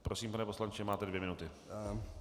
Prosím, pane poslanče, máte dvě minuty.